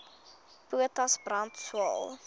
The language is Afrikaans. potas brand swael